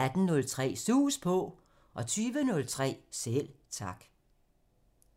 18:03: Sus På 20:03: Selv Tak